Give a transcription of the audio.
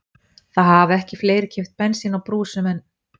Það hafa ekki fleiri keypt bensín á brúsum en